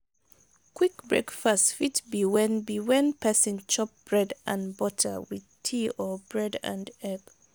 quick breakfast fit be when be when person chop bread and butter with tea or bread and egg